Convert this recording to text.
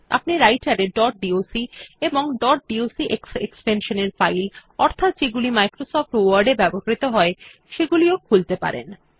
আপনি রাইটের এ ডট ডক এবং ডট ডক্স এক্সটেনশন এর ফাইল অর্থাৎ যেগুলি মাইক্রোসফট ওয়ার্ড এ ব্যবহৃত হয় সেগুলিও খুলতে পারেন